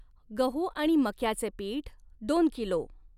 गहू आणि मक्याचे पीठ दोन किलो.